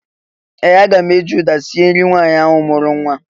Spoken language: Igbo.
Ee! Aga m eji ụda sie nri nwaanyị ahụ mụrụ nwa.